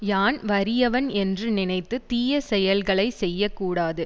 யான் வறியவன் என்று நினைத்து தீய செயல்களை செய்ய கூடாது